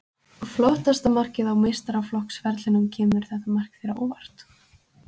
Flottasta markið á meistaraflokksferlinum Kemur þetta mark þér á óvart?